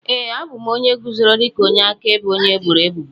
Ee, abụ m onye guzoro dịka onye akaebe onye eboro ebubo.